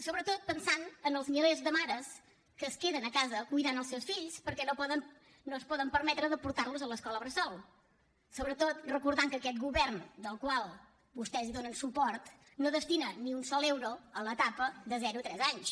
sobretot pensant en els milers de mares que es queden a casa cuidant els seus fills perquè no es poden permetre de portar los a l’escola bressol sobretot recordant que aquest govern al qual vostès donen suport no destina ni un sol euro a l’etapa de zero a tres anys